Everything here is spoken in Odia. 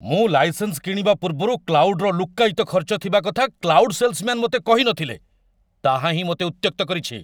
ମୁଁ ଲାଇସେନ୍ସ କିଣିବା ପୂର୍ବରୁ କ୍ଲାଉଡ୍ର ଲୁକ୍କାୟିତ ଖର୍ଚ୍ଚ ଥିବା କଥା କ୍ଲାଉଡ୍ ସେଲ୍ସମ୍ୟାନ ମୋତେ କହି ନଥିଲେ, ତାହାହିଁ ମୋତେ ଉତ୍ତ୍ୟକ୍ତ କରିଛି।